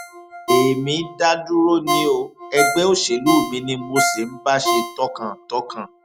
èmi dá dúró ni o ẹgbẹ òṣèlú mi ni mo sì ń bá ṣe tọkàntọkàn